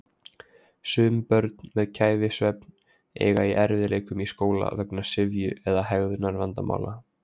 Sum börn með kæfisvefn eiga í erfiðleikum í skóla vegna syfju eða hegðunarvandamála.